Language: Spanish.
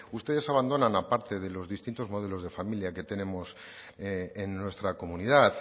ustedes abandonan a parte de los distintos modelos de familia que tenemos en nuestra comunidad